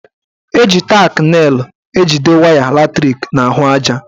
Eji tak nelụ ejide waya latrik n'ahụaja.